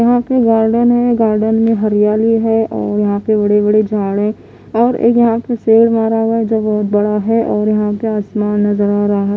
यहां पे गार्डन है गार्डन में हरियाली है और यहां पे बड़े-बड़े झाड़ है और एक यहां पे शेर मरा हुआ है जो बहोत बड़ा है और यहां पे आसमान नजर आ रहा --